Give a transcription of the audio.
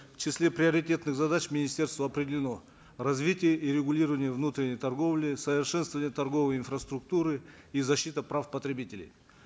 в числе приоритетных задач министерства определены развитие и регулирование внутренней торговли совершенствование торговой инфраструктуры и защита прав потребителей